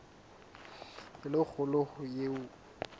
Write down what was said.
e le kgolo ho eo